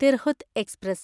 Tirhut express